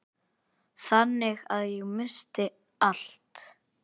Þannig að ég missti allt.